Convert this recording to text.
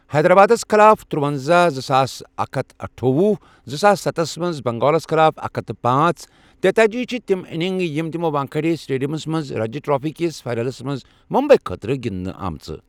حیدرآبادس خٕلاف ترُۄنزاہ، زٕساس اکھ ہتھ تہٕ أٹھوُہ، زٕساس ستھسَ منٛز بنگالس خٕلاف اکھ ہتھ پانژھ، تیتأجی چھِ تِم اننگ یِم تِمو وانکھیڑے سٹیڈیمس منٛز رنجی ٹرافی کِس فائنلس منٛز ممبئی خٲطرٕ گِنٛدنہٕ آمژٕ۔